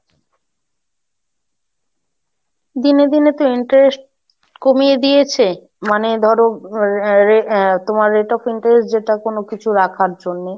দিনে দিনে তো interest কমিয়ে দিয়েছে, মানে ধরো তোমার Rate of interest যেটা কোনো কিছু রাখার জন্যে,